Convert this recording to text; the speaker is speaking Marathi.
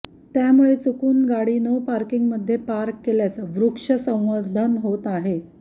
त्यामुळे चुकून गाडी नो पार्किंगमध्ये पार्क केल्यास वृक्ष संवर्धन होत आहे